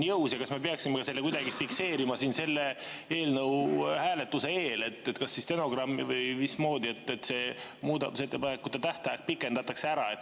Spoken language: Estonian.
Ja kas me peaksime kuidagi fikseerima selle eelnõu hääletuse eel, kas siis stenogrammis või muudmoodi, et muudatusettepanekute tähtaega pikendatakse?